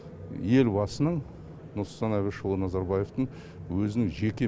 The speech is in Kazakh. елбасының нұрсұлтан әбішұлы назарбаевтың өзінің жеке